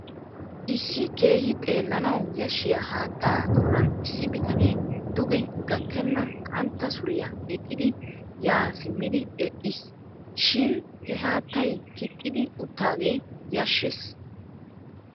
Issi keehi xeellanawu yashshiya haattaa doonan issi bitanee duge gakkenna qantta suriya gixxidi yaa simmidi eqqiisi. Shin he haattay kixxidi uttaagee yashshees.